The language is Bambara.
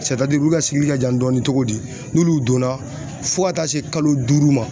u ka ka jan dɔɔni cogo di ,n'ulu donna fo ka taa se kalo duuru ma